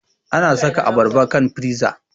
Ana saka abarba kan fiza